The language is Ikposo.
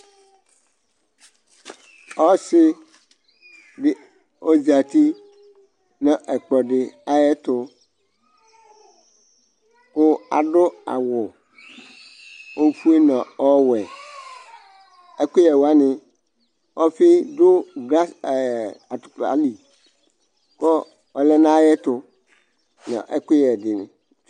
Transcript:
Ɔsiɖi ɔzati nʋ ɛkplɔɖi ayɛtʋkʋ aɖʋ awu ofue nʋ ɔwuɛƐkʋyɛ wani: ɔfii ɖʋ glaɛɛɛ atʋpali kʋ ɔlɛ n'ayɛtʋnʋ ɛkʋyɛni